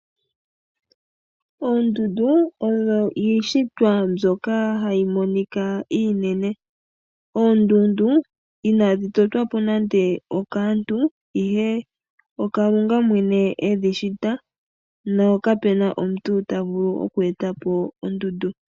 Oondundu odho iishitwa mbyoka hayi monika iinene, oondundu inadhi totwa po nande okaantu ihe oKalunga mwene edhi shita nokape na omuntu tavulu oku eta po ondundu.